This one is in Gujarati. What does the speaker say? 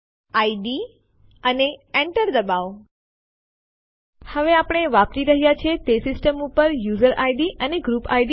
સીપી ની જેમ આપણે એમવી સાથે પણ ઘણી ફાઈલો ઉપયોગમાં લઇ શકીએ છીએ પરંતુ તે કિસ્સામાં ડેસ્ટીનેશન ડિરેક્ટરી હોવી જોઈએ